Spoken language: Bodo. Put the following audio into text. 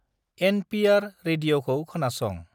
एनपिआर रेडिअखौ खोनासं।